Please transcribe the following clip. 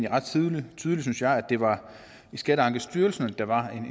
ret tydeligt synes jeg at det var i skatteankestyrelsen at der var en